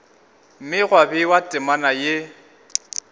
mme gwa bewa temana ye